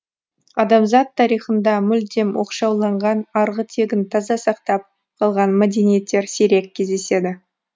адамзат тарихында мүлдем оқшауланған арғы тегін таза сактап калған мәдениеттер сирек кездеседі